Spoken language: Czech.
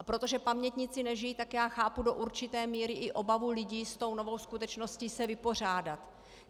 A protože pamětníci nežijí, tak já chápu do určité míry i obavu lidí s tou novou skutečností se vypořádat.